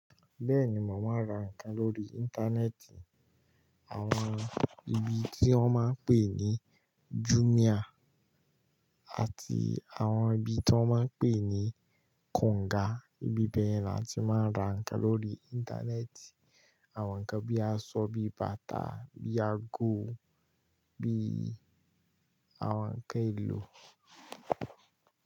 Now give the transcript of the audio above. Bẹ́ẹ̀ni, màá ma ra nǹkan lórí Internet Àwon ibi tí wọ́n máa ń pè ní Jumia àti àwon ibi tí wọ́n máa ń pè ní Konga. Ibi bẹ́ẹ̀ la ti máa ń ra nǹkan lórí Interneti Àwon nǹkan bíi aṣọ, bíi bàtà, bíi ago, bíi àwon nǹkan èlò.